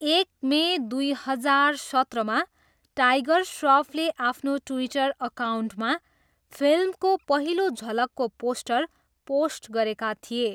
एक मे दुई हजार सत्रमा टाइगर स्रफले आफ्नो ट्विटर अकाउन्टमा फिल्मको पहिलो झलकको पोस्टर पोस्ट गरेका थिए।